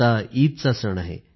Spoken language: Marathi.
आता ईदचा सण आहे